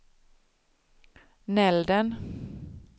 Nälden